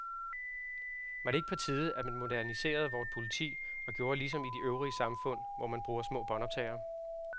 Var det ikke på tide, at man moderniserede vort politi og gjorde ligesom i det øvrige samfund, hvor man bruger små båndoptagere?